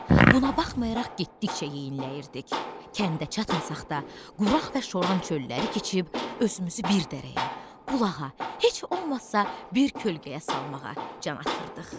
Buna baxmayaraq getdikcə yeyinləyirdik, kəndə çatmasaq da, quraq və şoran çölləri keçib özümüzü bir dərəyə, bulağa, heç olmasa bir kölgəyə salmağa can atırdıq.